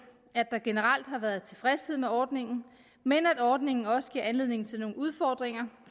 at der generelt har været tilfredshed med ordningen men at ordningen også giver anledning til nogle udfordringer